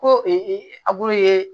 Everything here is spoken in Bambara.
Ko abulu ye